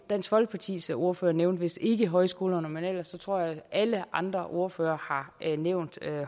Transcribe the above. dansk folkepartis ordfører nævnte vist ikke højskolerne men ellers tror jeg at alle andre ordførere har nævnt